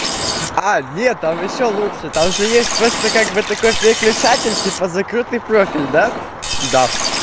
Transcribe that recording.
а не там ещё лучше там же есть просто как бы такой переключатель типа закрытый профиль да-да